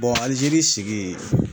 Alizeri sigi